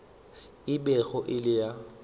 e bego e le ya